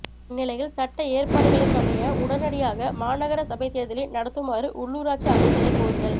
இந்நிலையில் சட்ட ஏற்பாடுகளுக்கமைய உடனடியாக மாநகர சபை தேர்தலை நடத்துமாறு உள்ளுராட்சி அமைச்சினைக் கோருதல்